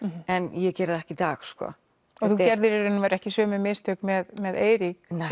en ég geri það ekki í dag og þú gerðir í raun og veru ekki sömu mistök með með Eirík